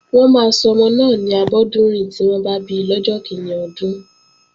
Wọ́n máa sọmọ náà ni Abọ́dúnrìn tí wọ́n bá bi lọ́jọ́ kíní ọdún